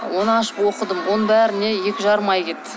оны ашып оқыдым оның бәріне екі жарым ай кетті